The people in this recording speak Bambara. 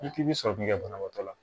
I k'i bɛ sɔrɔ k'i ka banabaatɔ la